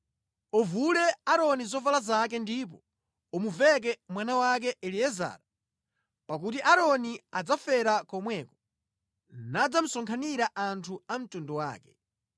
Uvule Aaroni zovala zake ndipo umuveke mwana wake Eliezara, pakuti Aaroni adzafera komweko, ndipo adzakakhala ndi anthu a mtundu wake.”